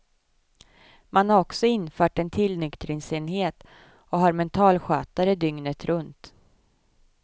Man har också infört en tillnyktringsenhet och har mentalskötare dygnet runt.